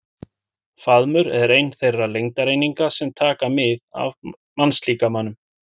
Faðmur er ein þeirra lengdareininga sem taka mið af mannslíkamanum.